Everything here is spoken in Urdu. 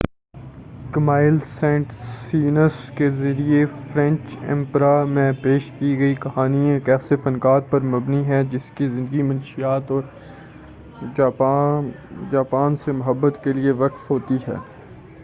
کیمائل سینٹ سیئنس کے ذریعہ فرینچ اپیرا میں پیش کی گئی کہانی ایک ایسے فنکار پر مبنی ہے جن کی زندگی منشیات اور جاپان سے محبت کیلئے وقف ہوتی ہے